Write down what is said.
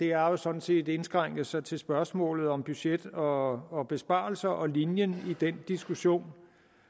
har jo sådan set indskrænket sig til spørgsmålet om budget og og besparelser og linjen i den diskussion